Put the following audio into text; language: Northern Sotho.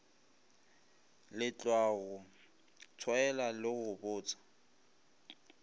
letlwago tshwaela le go botsa